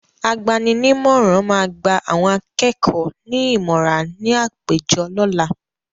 Agbaninímọ̀ràn máa gba àwọn akẹ́kọ̀ọ́ ní ìmọ̀rà ní àpéjọ lọ́la.